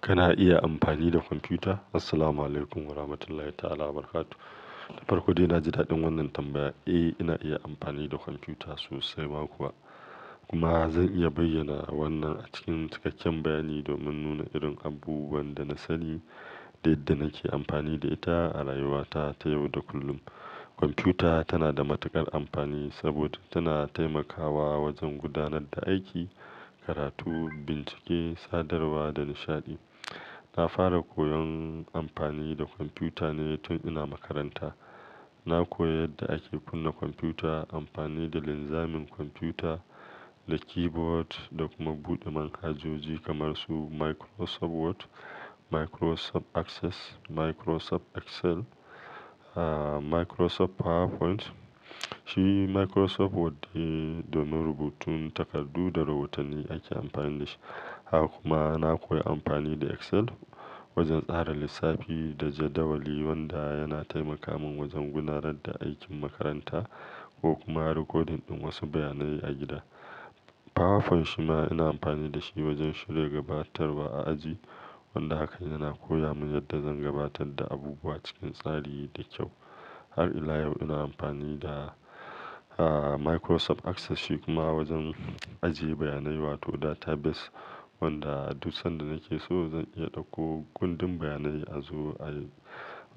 Kana iya amfani da kwamfuta? Assalamualaikum warahmatullahi ta'ala barakatuh. Da farko dai, na ji daɗin wannan tambaya. Eh, ina iya amfani da kwamfuta sosai ma kuwa. Kuma zan iya bayyana wannan a cikin cikakken bayani domin nuna irin abubuwan da na sani da yadda nake amfani da ita a rayuwata ta yau da kullum. Kwamfuta tana da matuƙar amfani saboda tana taimakawa wajen gudanar da aiki, karatu, bincike, sadarwa da nishaɗi. Na fara koyon amfani da kwamfuta ne tun ina makaranta. Na koyi yadda ake kunna kwamfuta, amfani da linzamin kwamfuta, da keyboard, da kuma buɗe manhajoji kamar su Microsoft Word, Microsoft Access, Microsoft Excel, ah, Microsoft PowerPoint. Shi Microsoft Word de domin rubutun takardu da rahotanni ake amfani da shi. Haka kuma, na koyi amfani da Excel wajen tsara lissafi da jadawali wanda yana taimaka min wajen gudanar da aikin makaranta ko kuma rikodin wasu bayanai a gida. PowerPoint shi ma ina amfani da shi wajen shirya gabatarwa a aji wanda haka yana koya mun yadda zan gabatar da abubuwa cikin tsari da kyau. Har ila yau ina amfani da, ah, Microsoft Access shi kuma wajen ajiye bayanai wato database wanda duk sanda nake so zan iya ɗauko gundin bayanai a zo,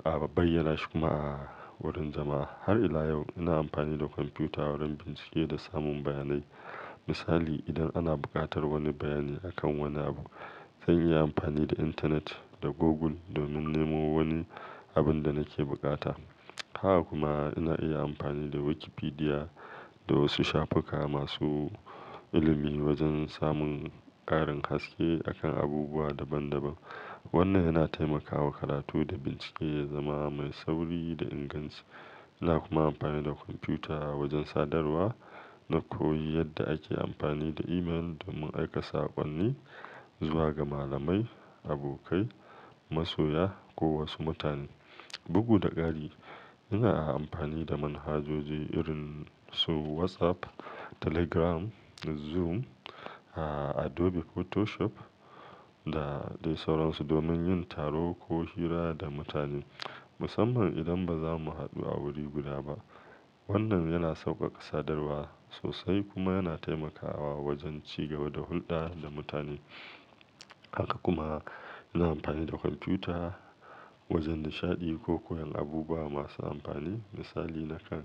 a bayyana shi kuma a wurin jama'a. Har ila yau ina amfani da kwamfuta wurin bincike da samun bayanai. Misali, idan ana buƙatar wani bayani akan wani abu, zan iya amfani da internet da Google domin nemo wani abin da nake bukata. Haka kuma ina iya amfani da Wikipedia da wasu shafuka masu ilimi wajen samun ƙarin haske a kan abubuwa daban daban. Wannan yana taimakawa karatu da bincike ya zama mai sauri da inganci. Ina kuma amfani da kwamfuta wajen sadarwa. Na koyi yadda ake amfani da email domin aika saƙonni zuwa ga malamai, abokai, masoya ko wasu mutane. Bugu da ƙari, ina amfani da manhajoji irin su WhatsApp, Telegram, Zoom, ah, Adobe Photoshop da dai sauran su domin yin taro ko hira da mutane musamman idan ba za mu haɗu a wuri guda ba. Wannan yana sauƙaƙa sadarwa sosai kuma yana taimakawa wajen cigaba da hulɗa da mutane. Haka kuma ina amfani da kwamfuta wajen nishaɗi ko koyan abubuwa masu amfani. Misali, nakan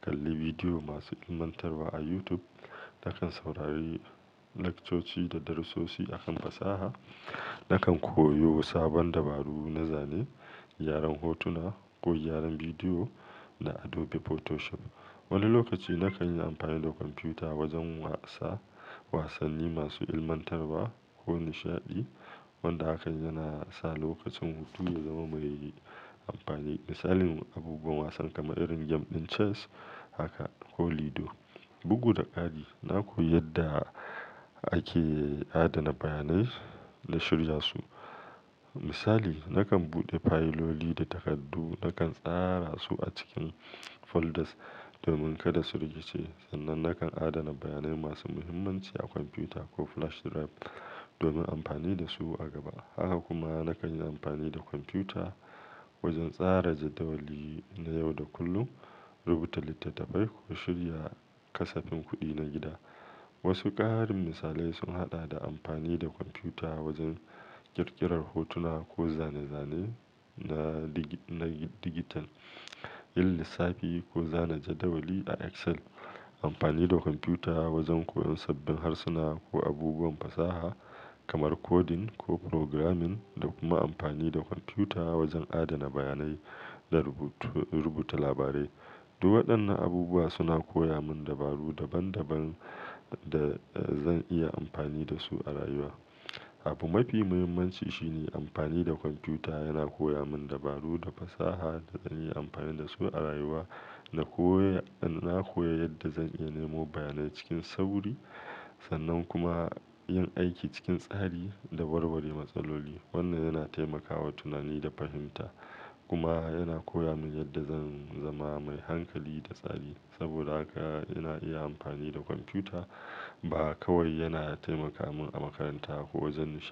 kalli bidiyo masu ilmantarwa a YouTube, nakan saurari lectures da darasosi a kan fasaha, nakan koyo sabon dabaru na zane, gyaran hotuna ko gyaran bidiyo da Adobe Photoshop. Wani lokaci nakan yi amfani da kwamfuta wajen wasa wasanni masu ilmantarwa ko nishaɗi wanda haka yana sa lokacin hutu ya zama mai amfani. Misalin abubuwan wasan kamar irin game ɗin chess haka ko Ludo. Bugu da ƙari, na koyi yadda ake adana bayanai da shirya su. Misali, nakan buɗe fayiloli da takardu nakan tsara su a cikin folders domin kada su rikice. Sannan nakan adana bayanai masu muhimmanci a kwamfuta ko flash drive domin amfani da su a gaba. Haka kuma nakan yi amfani da kwamfuta wajen tsara jadawali na yau da kullum, rubuta littattafai ko shirya kasafin kuɗi na gida. Wasu ƙarin misalai sun haɗa da amfani da kwamfuta wajen ƙirƙirar hotuna ko zane-zane na digi-- na digital, yin lissafi ko zana jadawali a Excel, amfani da kwamfuta wajen koyon sabbin harsuna ko abubuwan fasaha kamar coding ko programming da kuma amfani da kwamfuta wajen adana bayanai da rubuta labarai. Duk waɗannan abubuwa suna koya mun dabaru daban daban da zan iya amfani da su a rayuwa. Abu mafi muhimmanci shi ne amfani da kwamfuta yana koya mun dabaru da fasaha da zan iya amfani da su a rayuwa. Na koyi-- na koyi yadda zan iya nemo bayanai cikin sauri sannan kuma yin aiki cikin tsari da warware matsaloli. Wannan yana taimakawa tunani da fahimta kuma yana koya mun yadda zan zama mai hankali da tsari. Saboda haka ina iya amfani da kwamfuta ba kawai yana taimaka mun a makaranta ko wajen nishaɗi.